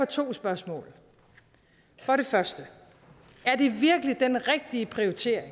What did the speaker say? to spørgsmål for det første er det virkelig den rigtige prioritering